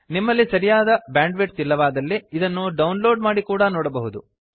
ನಿಮ್ಮಲ್ಲಿ ಸರಿಯಾದ ಬ್ಯಾಂಡ್ವಿಡ್ಥ್ ಇಲ್ಲವಾದಲ್ಲಿ ಇದನ್ನು ಡೌನ್ಲೋಡ್ ಮಾಡಿ ಕೂಡಾ ನೋಡಬಹುದು